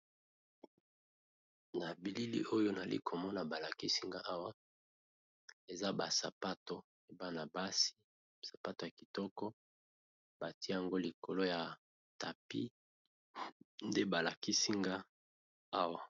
Na bilili oyo nali komona balakisinga awa eza ba sapatu ebana basi sapatu ya kitoko bati yango likolo ya tapi nde balakisinga awa.